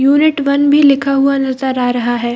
Unit one भी लिखा हुआ नज़र आ रहा है।